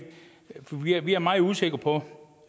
vi er meget usikre